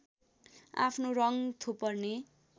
आफ्नो रङ थोपर्ने